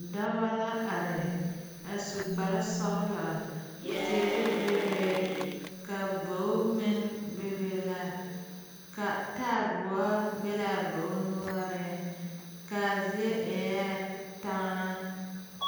Dɔba la are a su kpare sɔglɔ teere bebe ka bogi meŋ bebe la ka taaboɔ be laa bogi noɔriŋ kaa zie eɛɛ taŋa.